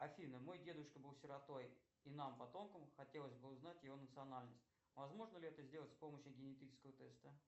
афина мой дедушка был сиротой и нам потомкам хотелось бы узнать его национальность возможно ли это сделать с помощью генетического теста